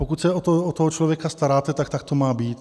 Pokud se o toho člověka staráte, tak to tak má být.